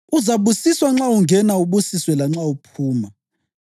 Uzabusiswa nxa ungena ubusiswe lanxa uphuma.